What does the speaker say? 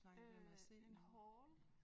Øh en haul?